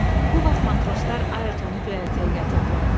Bu vaxt matroslar Ayertonu göyərtəyə gətirdilər.